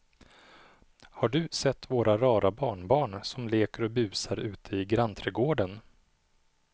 Har du sett våra rara barnbarn som leker och busar ute i grannträdgården!